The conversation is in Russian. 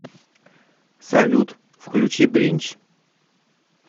салют включи бринч